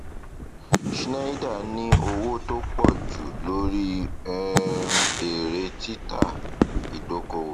schneider ní owó tó pọ jù lórí um èrè títà ìdókòwò